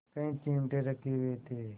कई चिमटे रखे हुए थे